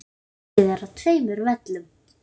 Leikið er á tveimur völlum.